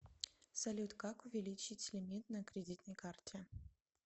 салют как увеличить лимит на кредитной карте